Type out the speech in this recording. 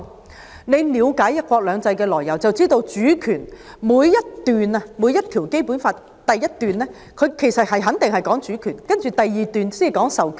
如果大家了解"一國兩制"的來由，應知道《基本法》每項條文的第一款肯定關乎主權，第二款才關乎授權。